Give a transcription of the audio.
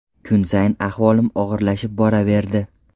Kun sayin ahvolim og‘irlashib boraverdi.